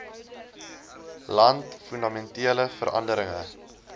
land fundamentele veranderinge